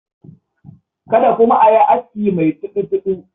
Kada kuma a yi aski mai tudu-tudu.